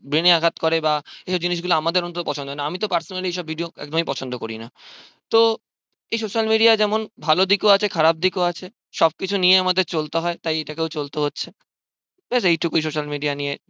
brain এ আঘাত করে বা এসব জিনিসগুলো আমাদের অন্তত পছন্দ না আমি তো personally এই সব video একদমই পছন্দ করিনা তো এই social media যেমন ভালো দিক ও আছে খারাপ দিক ও আছে সবকিছু নিয়ে আমাদের চলতে হয় তাই এটা কে ও চলতে হচ্ছে ব্যাস এইটুকুই social media নিয়ে